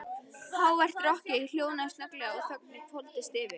Hávært rokkið hljóðnaði snögglega og þögnin hvolfdist yfir.